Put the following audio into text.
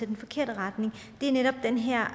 den forkerte retning og det er netop den her